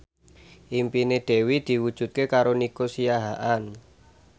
impine Dewi diwujudke karo Nico Siahaan